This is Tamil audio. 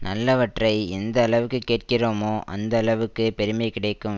நல்லவற்றை எந்த அளவுக்கு கேட்கிறோமோ அந்த அளவுக்குப் பெருமை கிடைக்கும்